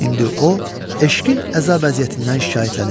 İndi o eşqin əzab əziyyətindən şikayətlənir.